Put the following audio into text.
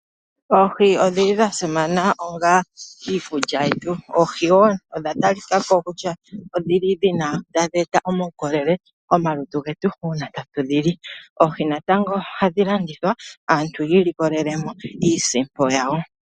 Oohi odhili dha simana onga iikulya yetu. Oohi wo odha talika ko kutya odhili dhina, tadhi e ta omaukolele komalutu getu uuna tatu dhi li. Oohi natango ohadhi landithwa, aantu yi ilikolele mo iisimpo yawo.